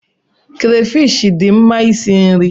Krafish dị mma isi nri.